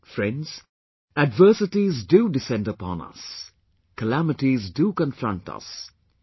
Friends, adversities do descend upon us; calamities do confront us...